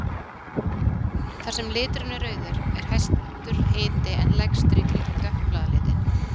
Þar sem liturinn er rauður er hæstur hiti en lægstur í kringum dökkbláa litinn.